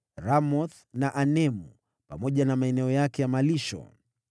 Ramothi na Anemu, pamoja na maeneo yake ya malisho.